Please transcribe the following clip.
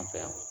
An fɛ yan